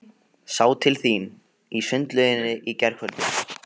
Sá til þín í sundlauginni í gærkvöldi.